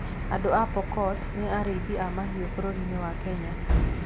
Andũ a Pokot nĩ arĩithi a mahiũ bũrũri-inĩ wa Kenya.